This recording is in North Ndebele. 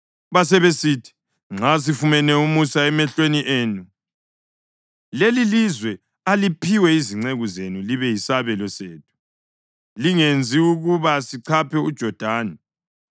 Basebesithi, “Nxa sifumene umusa emehlweni enu, lelilizwe aliphiwe izinceku zenu libe yisabelo sethu. Lingenzi ukuba sichaphe uJodani.”